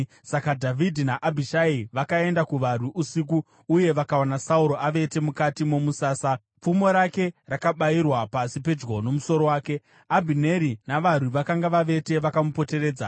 Saka Dhavhidhi naAbhishai vakaenda kuvarwi usiku, uye vakawana Sauro avete mukati momusasa, pfumo rake rakabayirwa pasi pedyo nomusoro wake. Abhineri navarwi vakanga vavete vakamupoteredza.